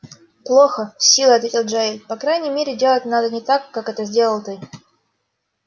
плохо с силой ответил джаэль по крайней мере делать надо не так как это сделал ты